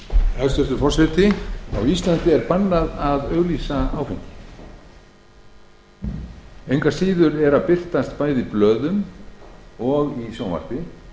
hæstvirtur forseti á íslandi er bannað að auglýsa áfengi engu að síður birtast bæði í blöðum og sjónvarpi